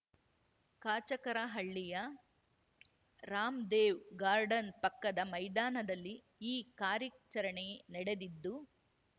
ಕಾಚಕರಹಳ್ಳಿಯ Ramdev garden ಪಕ್ಕದ ಮೈದಾನದಲ್ಲಿ ಈ ಕಾರ್ಯಾಚರಣೆ ನಡೆದಿದ್ದು